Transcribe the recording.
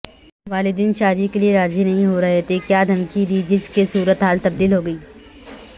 والدین شادی کے لیے راضی نہیں ہورہے تھےکیادھمکی دی جس کےصورت حال تبدیل ہوگئی